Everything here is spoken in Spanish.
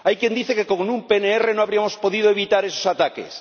Hay quien dice que con un PNR no habríamos podido evitar esos ataques.